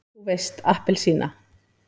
þú veist APPELSÍNA!